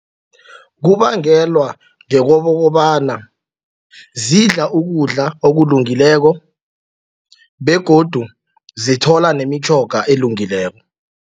Kubangelwa ngokobana zidla ukudla okulungileko begodu zithola nemitjhoga elungileko.